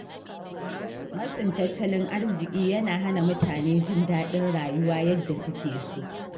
Matsin tattalin arziƙi yana hana mutane jin daɗin rayuwa yadda suke so.